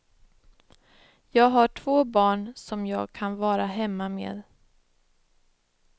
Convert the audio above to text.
Jag har två barn som jag kan vara hemma med.